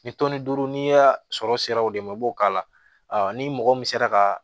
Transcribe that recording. Ni tɔnni duuru n'i y'a sɔrɔ sera o de ma i b'o k'a la ni mɔgɔ min sera ka